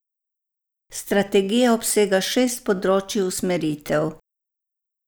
Strategija obsega šest področij usmeritev.